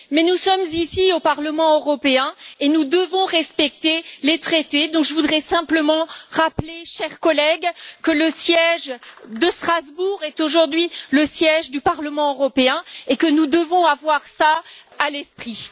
Mais nous sommes ici au Parlement européen et nous devons respecter les traités, donc je voudrais simplement rappeler, chers collègues, que le siège de Strasbourg est aujourd'hui le siège du Parlement européen et que nous devons avoir cela à l'esprit.